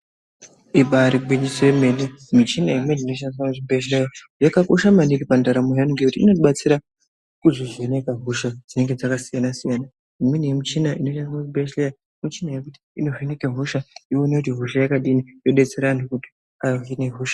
Imbari gwinyiso yemene, michina inoshandiswa muzvibhedhlera yakakosha maningi pandaramo yevantu ngekuti inotibatsira kuzvivheneka hosha dzinenge dzakasiyana siyana. Imweni yemishina inoshandiswa muchibhedhleya, mishina yekuti inovheneka hosha, yoone kuti hosha yakadini, yobetsera vanhu kuti vahine hosha.